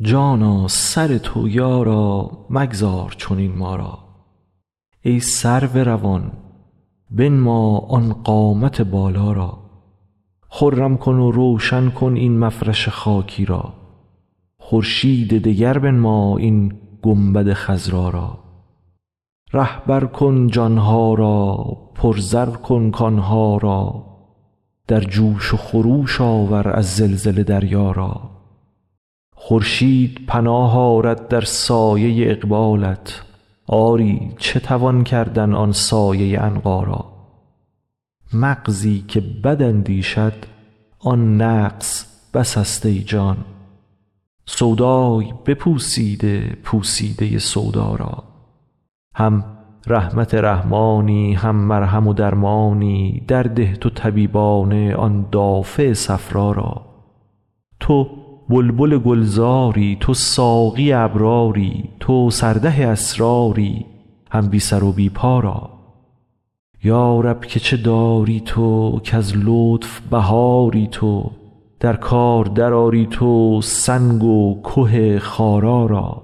جانا سر تو یارا مگذار چنین ما را ای سرو روان بنما آن قامت بالا را خرم کن و روشن کن این مفرش خاکی را خورشید دگر بنما این گنبد خضرا را رهبر کن جان ها را پرزر کن کان ها را در جوش و خروش آور از زلزله دریا را خورشید پناه آرد در سایه اقبالت آری چه توان کردن آن سایه عنقا را مغزی که بد اندیشد آن نقص بسست ای جان سودای بپوسیده پوسیده سودا را هم رحمت رحمانی هم مرهم و درمانی درده تو طبیبانه آن دافع صفرا را تو بلبل گلزاری تو ساقی ابراری تو سرده اسراری هم بی سر و بی پا را یا رب که چه داری تو کز لطف بهاری تو در کار درآری تو سنگ و که خارا را